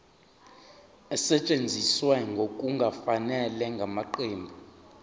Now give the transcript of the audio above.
esetshenziswe ngokungafanele ngamaqembu